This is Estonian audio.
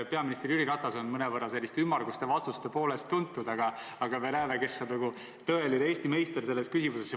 Peaminister Jüri Ratas on tuntud selliste mõnevõrra ümmarguste vastuste poolest, aga me näeme, kes on nagu tõeline Eesti meister selles küsimuses.